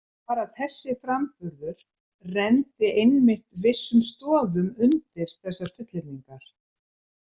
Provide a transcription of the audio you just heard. Bara þessi framburður renndi einmitt vissum stoðum undir þessar fullyrðingar.